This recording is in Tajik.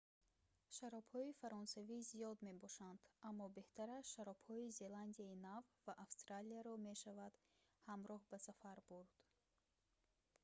шаробҳои фаронсавӣ зиёд мебошанд аммо беҳтараш шаробҳои зеландияи нав ва австралияро мешавад ҳамроҳ ба сафар бурд